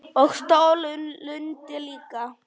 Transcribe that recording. Og stóra lund líka.